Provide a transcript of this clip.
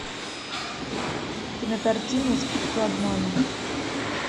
кинокартина искусство обмана